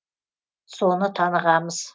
соны танығамыз